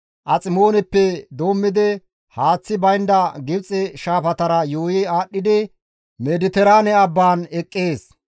Aximooneppe doommidi haaththi baynda Gibxe shaafatara yuuyi aadhdhidi Mediteraane abbaan eqqees.